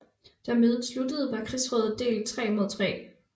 Da mødet sluttede var krigsrådet delt 3 mod 3